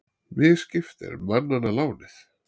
Misskipt er manna lánið.